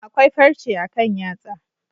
Akwai farche akan yatsa.